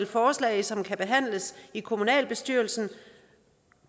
forslag som kan behandles i kommunalbestyrelsen